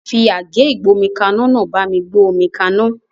Fi àgé ìgbómikaná náà bá mi gbé omi kaná